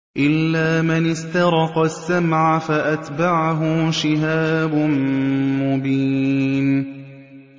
إِلَّا مَنِ اسْتَرَقَ السَّمْعَ فَأَتْبَعَهُ شِهَابٌ مُّبِينٌ